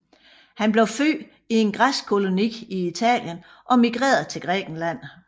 Han blev født i en græsk koloni i Italien og migrerede til Grækenland